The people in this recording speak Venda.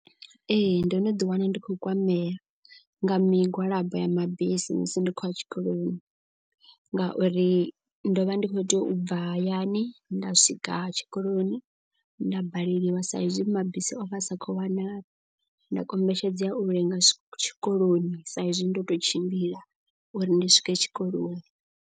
Ee ndo no ḓi wana ndi khou kwamea nga migwalabo ya mabisi musi ndi khou ya tshikoloni. Ngauri ndo vha ndi khou tea u bva hayani nda swika tshikoloni nda baleliwa sa izwi mabisi ovha a sa khou wanala. Nda kombetshedzea u lenga tshikoloni sa izwi ndo tou tshimbila uri ndi swike tshikoloni.